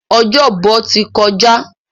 Ọjọ́bọ̀ ti kọjá.